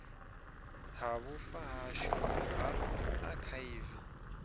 ha vhufa hashu ha akhaivi